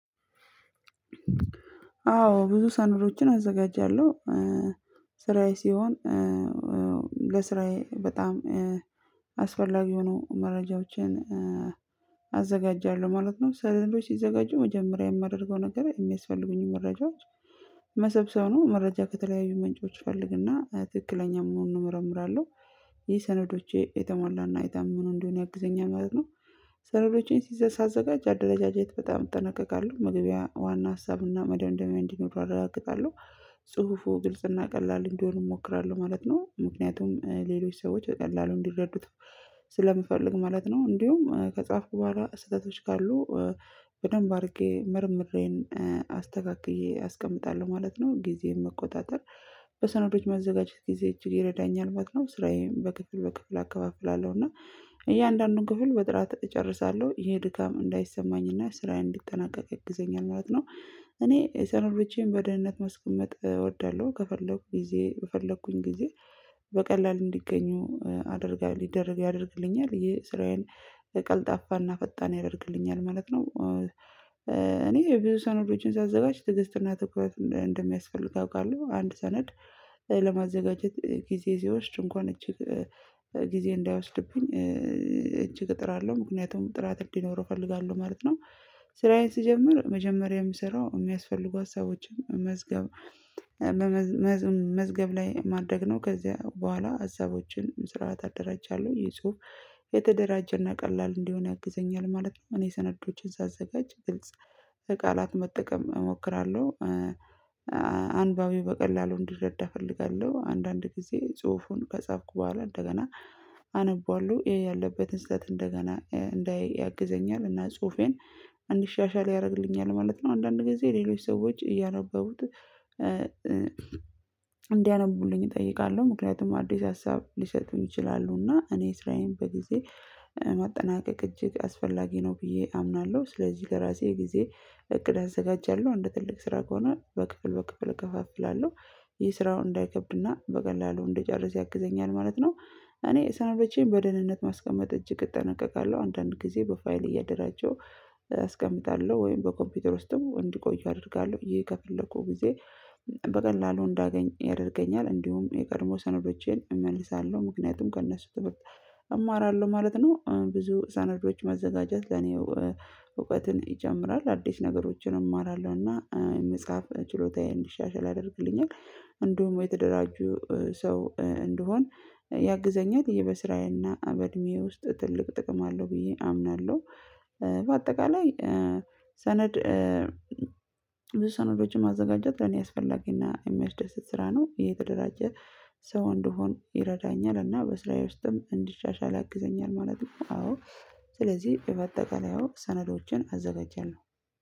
አዎ ብዙ ሰነዶችን አዘጋጃለሁ ስራዬ ሲሆን ለስራዬ በጣም አስፈላጊ ሆኖ መረጃዎቼን አዘጋጃለሁ ማለት ነው። ሰነዶች ሲዘጋጁ መጀመሪያ የማደርገው ነገር የሚያስፈልጉኝ መረጃዎች መሰብሰቡ ነው። መረጃ ከተለያዩ ምንጮች ፈልግና ትክክለኛ መሆኑን እመረምራለሁ። ይህ ሰነዶቼ የተሟላና የታመኑ እንደሆን ያግዘኛል ማለት ነው። ሰነዶቼን ሲዘር ሳዘጋጅ አደረጃጀት በጣም እጠነቀቃለሁ መግቢያ ዋና ሀሳብና መደምደሚያ እንዲኖር አረጋግጣለሁ። ጽሁፉ ግልጽና ቀላል እንዲሆን እሞክራለሁ ማለት ነው ምክንያቱም ሌሎች ሰዎች በቀላሉ እንዲረዱት ስለምፈልግ ማለት ነው። እንዲሁም ከጻፍኩ በኋላ ስህተቶች ካሉ በደንብ አድርጌ መርምሬን አስተካክዬ አስቀምጣለሁ ማለት ነው። ጊዜን መቆጣጠር በሰነዶች መዘጋጀት ጊዜ እጅግ ይረዳኛል ማለት ነው። ስራዬን በክፍል በክፍል አከፋፍላለሁ እያንዳንዱን ክፍል በጥራት እጨርሳለሁ ይሄ ድካም እንዳይሰማኝና ስራዬን እንዲጠናቀቅ ያግዘኛል ማለት ነው። እኔ የሰነዶቼን በደህንነት ማስቀመጥ እወዳለሁ። ከፈለኩኝ ጊዜ ከፈለኩኝ ጊዜ በቀላል እንዲገኙ አደርጋለሁ ሊደርግ ያደርግልኛል ይሄ ስራዬን ቀልጣፋና ፈጣን ያደርግልኛል ማለት ነው። እኔ ብዙ ሰነዶችን ሳዘጋጅ ትዕግስት እና ትኩረት እንደሚያስፈልግ አውቃለሁ አንድ ሰነድ ለማዘጋጀት ጊዜ ሲወስድ እንኳን እጅግ ጊዜ እንዳያወስድብኝ እጅግ እጥራለሁ ምክንያቱም ጥራት እንዲኖረው እፈልጋለሁ ማለት ነው። ስራዬን ስጀምር መጀመሪያ የምሰራው የሚያስፈልጉ ሀሳቦችን መዝገብ መዝገብ ላይ ማድረግ ነው። ከዚያ በኋላ ሀሳቦችን ስርዓት አደራጃለሁ ይህ ጽሁፍ የተደራጀና ቀላል እንዲሆን ያግዘኛል ማለት ነው። እኔ ሰነዶችን ሳዘጋጅ ግልጽ ቃላት መጠቀም እሞክራለሁ። አንባቢው በቀላሉ እንድረዳ እፈልጋለሁ። አንዳንድ ጊዜ ጽሁፉን ከጻፍኩ በኋላ እንደገና አነበዋለሁ ይሄ ያለበትን ስህተት እንደገና እንዳይ ያግዘኛል እና ጽሁፌን አንድሻሻል ያደርግልኛል ማለት ነው። አንዳንድ ጊዜ ሌሎች ሰዎች እያነበቡት እንዲያነቡልኝ እጠይቃለሁ ምክንያቱም አዲስ ሀሳብ ሊሰጡኝ ይችላሉ። እና እኔ ስራዬን በጊዜ ማጠናቀቅ እጅግ አስፈላጊ ነው ብዬ አምናለሁ። ስለዚህ ከራሴ ጊዜ እቅድ አዘጋጃለሁ እንደ ትልቅ ስራ ከሆነ በክፍል በክፍል እከፋፍላለሁ የስራውን እንዳይከብድና በቀላሉ እንድጨርስ ያግዘኛል ማለት ነው። እኔ ሰንዶቼን በደህንነት ማስቀመጥ እጅግ እጠነቀቃለሁ አንዳንድ ጊዜ በፋይል እያደራጀው አስቀምጣለሁ ወይም በኮምፒውተር ውስጥም እንዲቆዩ አደርጋለሁ ይሄ ከፈለኩ ጊዜ በቀላሉ እንዳገኝ ያደርገኛል። እንዲሁም የቀድሞ ሰነዶቼን እመልሳለሁ ምክንያቱም ከእነሱ ትምህርት እማራለሁ ማለት ነው። ብዙ ሰነዶች መዘጋጀት ለኔ እውቀትን ይጨምራል አዲስ ነገሮችን እማራለሁና የመጽሐፍ ችሎታዬን እንዲሻሻል ያደርግልኛል። እንደውም የተደራጁ ሰው እንደሆን ያግዘኛል። ይህ በስራዬና በእድሜዬ ውስጥ ትልቅ ጥቅም አለው ብዬ አምናለሁ። በአጠቃላይ ሰነድ ብዙ ሰነዶችን ማዘጋጀት ለኔ አስፈላጊና እሚያስደስት ስራ ነው። የተደራጀ ሰው እንደሆን ይረዳኛል እና በስራዬ ውስጥም እንዲሻሻል ያግዘኛል ማለት ነው። አዎ ስለዚህ የማጠቀለያው ሰነዶችን አዘጋጃለሁ ነው